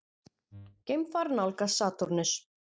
Geimfar nálgast Satúrnus.